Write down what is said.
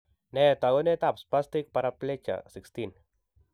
Nee taakunetaab spastic paraplegia 16?